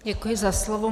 Děkuji za slovo.